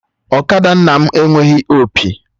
Ọkada nna m enweghị opi